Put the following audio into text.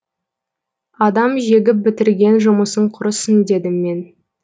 адам жегіп бітірген жұмысың құрысын дедім мен